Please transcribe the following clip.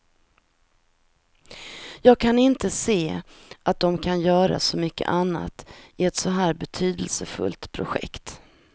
Jag kan inte se att de kan göra så mycket annat i ett så här betydelsefullt projekt.